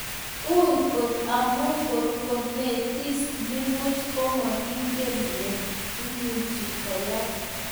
Ui kot amun kogo netis nipuch mokingen ne neimuche koyai.